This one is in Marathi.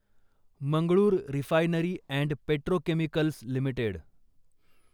Mangalore refinery and petrochemicals limited